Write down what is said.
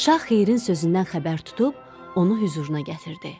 Şah xeyrin sözündən xəbər tutub, onu hüzuruna gətirdi.